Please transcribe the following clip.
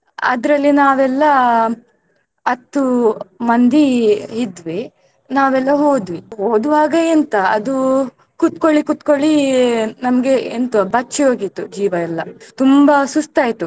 ಅದ್ರಲ್ಲಿ ನಾವೆಲ್ಲಾ ಹತ್ತು ಮಂದಿ ಇದ್ವಿ ನಾವೆಲ್ಲಾ ಹೋದ್ವೀ. ಹೋದುವಾಗ ಎಂತ ಅದೂ ಕೂತ್ಕೊಳಿ ಕೂತ್ಕೊಳಿ ನಮ್ಗೆ ಎಂತ ಬಚ್ಚಿ ಹೋಗಿತ್ತು ಜೀವ ಎಲ್ಲಾ ತುಂಬಾ ಸುಸ್ತಾಯಿತು.